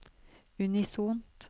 unisont